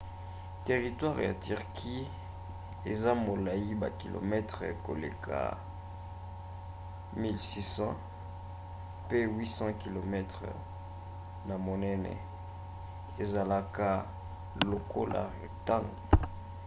teritware ya turquie eza molai bakilometele koleka 1 600 1 000 mi pe 800 km 500 mi na monene ezalaka lokola rectangle